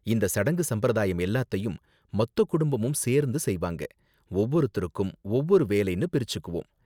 இந்த சடங்கு சம்பிரதாயம் எல்லாத்தையும் மொத்த குடும்பமும் சேர்ந்து செய்வாங்க. ஒவ்வொருத்தருக்கும் ஒவ்வொரு வேலைனு பிரிச்சுக்குவோம்.